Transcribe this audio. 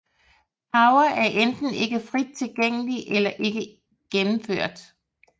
Power er enten ikke frit tilgængelige eller ikke gennemført